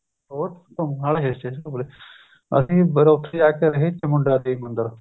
ਹੋਰ ਨਾਲੇ hill station ਘੁੱਮ ਲਏ ਅੱਸੀ ਚਮੁੰਡਾ ਦੇਵੀ ਮੰਦਿਰ